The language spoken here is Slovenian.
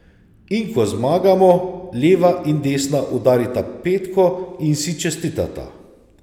In ko zmagamo, leva in desna udarita petko in si čestitata.